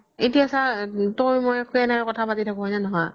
এতিয়া চা তই মই কেনেকে কথা পাতি থাকো হয় না নহয়